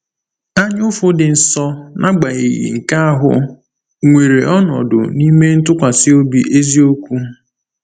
Anyaụfụ dị nsọ, n’agbanyeghị nke ahụ, nwere ọnọdụ n’ime ntụkwasị obi eziokwu.